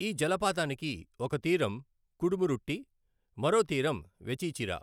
ఈ జలపాతానికి ఒక తీరం కుడమురుట్టి, మరో తీరం వెచీచిరా.